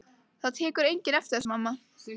Það tekur enginn eftir þessu, mamma.